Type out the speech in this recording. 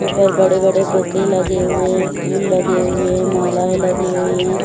ऊपर बड़े बड़े बूके लगे हुए हैं फुल लगे हुए हैं मालाएं लगी हुई है ।